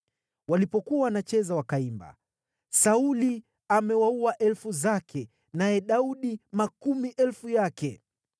Walipokuwa wanacheza, wakaimba: “Sauli amewaua elfu zake, naye Daudi makumi elfu yake.”